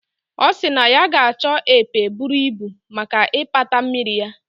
O si na ya ga acho epe buru Ibu maka ipata mmiri ya